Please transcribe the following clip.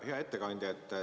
Hea ettekandja!